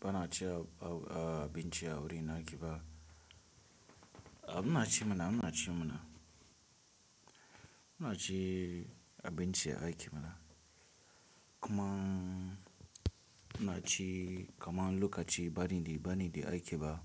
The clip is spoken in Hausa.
Ba na a ci abinci a wurin a ke ba, a muna ci mana, muna ci mana. Muna ci abinci a aiki mana. Kuma muna ci, kaman lokaci ba ni dai, ba ni dai aiki ba.